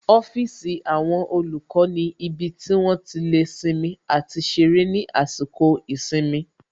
Ọ́fíìsì àwọn olùkọ́ ni ibi tí wón ti lè sinmi àti ṣeré ní àsìkò ìsinmi